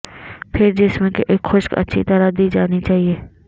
پھر جسم کے ایک خشک اچھی طرح دی جانی چاہئے